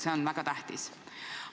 See on väga tähtis.